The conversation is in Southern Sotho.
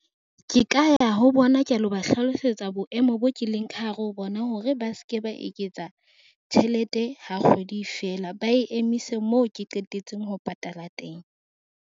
Ke ka ya ho bona ka lo ba hlalosetsa boemo boo ke leng ka hare ho bona hore ba ske ba eketsa tjhelete ha kgwedi e fela. Ba e emise moo ke qetetseng ho patala teng.